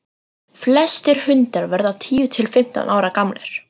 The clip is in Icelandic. flestir hundar verða tíu til fimmtán ára gamlir